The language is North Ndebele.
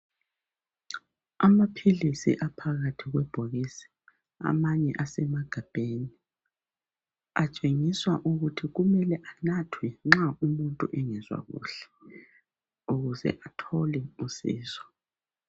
Amaphilisi aphakathi kwebhokisi amanye asemagabheni atshengiswa ukuthi kumele anathwe nxa umuntu engezwa kuhle ukuze athole usizo.